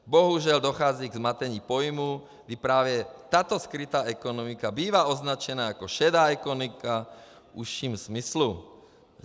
Bohužel dochází ke zmatení pojmů, kdy právě tato skrytá ekonomika bývá označena jako šedá ekonomika v užším smyslu.